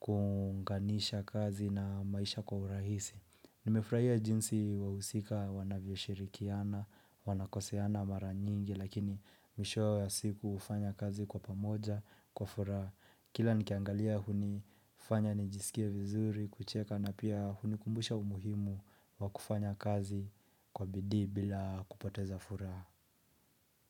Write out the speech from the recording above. kuunganisha kazi na maisha kwa urahisi. Nimefurahia jinsi wahusika wanavyoshirikiana, wanakoseana mara nyingi lakini mwishowe wa siku hufanya kazi kwa pamoja, kwa furaha, kila nikiangalia hunifanya nijisikie vizuri, kucheka na pia hunikumbusha umuhimu wa kufanya kazi kwa bidii bila kupoteza furaha.